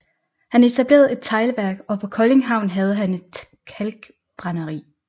Han etablerede et teglværk og på Kolding Havn havde han et kalkbrænderi